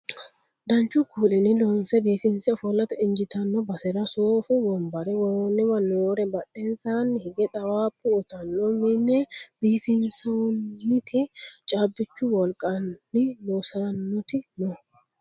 danchu kuulinni loonse biifinse ofollate injiitanno basera soofu wonbare worroonniwa noore badhensaanni hige xawaabba uyiitanni mine biifissannoti caabbichu wolqanni loossannoti no